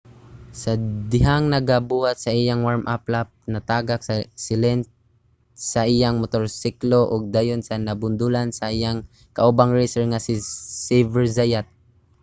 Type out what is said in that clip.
sa dihang nagabuhat sa iyang warm-up lap natagak si lenz sa iyang motorsiklo ug dayon nabundulan sa iyang kaubang racer nga si xavier zayat